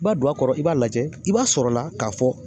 I b'a don a kɔrɔ i b'a lajɛ i b'a sɔrɔla k'a fɔ